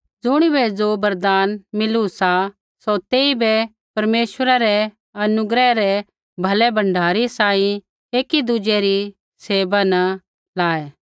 ज़ुणिबै ज़ो वरदान मिलू सा सौ तेइबै परमेश्वरै रै अनुग्रह रै भलै भण्डारी सांही एकी दुज़ै री सेवा न लाऐ